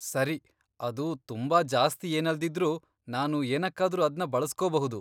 ಸರಿ, ಅದು ತುಂಬಾ ಜಾಸ್ತಿ ಏನಲ್ದಿದ್ರೂ ನಾನು ಏನಕ್ಕಾದ್ರೂ ಅದ್ನ ಬಳಸ್ಕೊಬಹುದು.